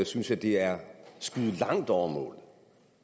synes jeg det er at skyde langt over målet